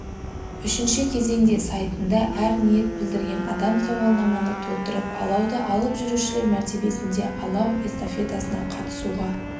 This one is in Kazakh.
үшінші кезеңде сайтында әр ниет білдірген адам сауалнаманы толтырып алауды алып жүрушілер мәртебесінде алау эстафетасына қатысуға